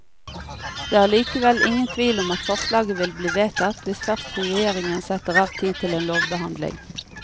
Det er likevel ingen tvil om at forslaget vil bli vedtatt, hvis først regjeringen setter av tid til en lovbehandling.